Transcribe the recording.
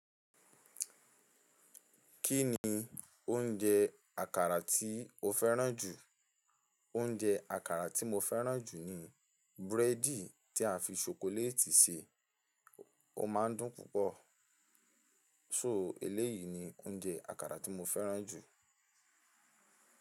Kí ni oúnjẹ àkàrà tí o fẹ́ràn jù? Oúnjẹ àkàrà tí mo fẹ́ràn jù ni búrẹ́dì tí a fi ṣokoléètì ṣe. Ó máa ń dùn púpọ̀, so eléyìí ni oúnjẹ àkàrà tí mo fẹ́ràn jù.